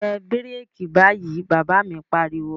Tẹ bíràkì báyìí, Bàbá mi pariwo